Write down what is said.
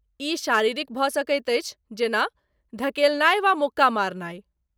ई शारीरिक भऽ सकैत अछि जेना ,धकेलनाइ वा मुक्का मारनाइ।